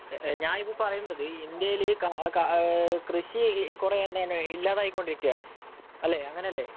ഞാനിപ്പോൾ പറയുന്നത് ഇന്ത്യയില് കൃഷി കുറയുക, ഇല്ലാതായിക്കൊണ്ടിരിക്കുകയാണ്. അല്ലേ? അങ്ങനെയല്ലേ?